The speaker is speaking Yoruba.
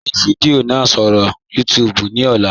Gbẹ̀ fidiò náà sọ̀rọ̀ YouTube ní ọ̀là.